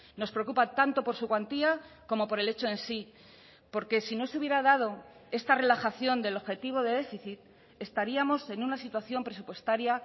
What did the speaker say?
nos preocupa tanto por su cuantía como por el hecho en sí porque si no se hubiera dado esta relajación del objetivo de déficit estaríamos en una situación presupuestaria